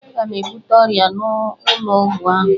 Aga m ebute ọrịa n'ụlọ ọgwụ ahụ